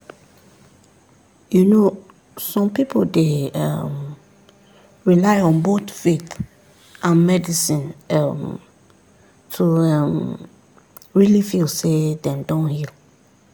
you know some people dey um rely on both faith and medicine um to um really feel say dem don heal.